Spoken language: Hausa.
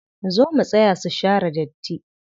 Zo mu taya su share datti.